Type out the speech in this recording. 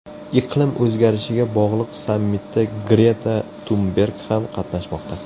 Iqlim o‘zgarishiga bog‘liq sammitda Greta Tunberg ham qatnashmoqda.